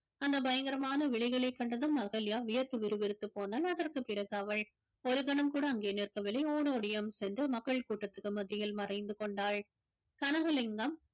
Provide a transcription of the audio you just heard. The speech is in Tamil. அந்த பயங்கரமான விழிகளை கண்டதும் அகல்யா வியர்த்து விறுவிறுத்து போனாள் அதற்கு பிறகு அவள் ஒரு கணம் கூட அங்கே நிற்கவில்லை ஓடோடியும் சென்று மக்கள் கூட்டத்துக்கு மத்தியில் மறைந்து கொண்டாள் கனகலிங்கம்